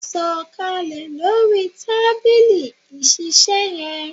Sọ kalẹ̀ lórí tábìlì ìṣiiṣẹ́ yẹn!